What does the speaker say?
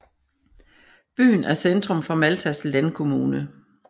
Byen er centrum for Maltas landkommune